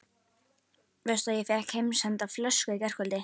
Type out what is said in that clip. Veistu að ég fékk heimsenda flösku í gærkvöldi?